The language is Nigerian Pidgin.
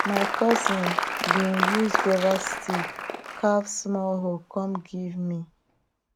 my cousin bin use guava stick carve small hoe con give me